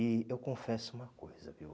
E eu confesso uma coisa, viu?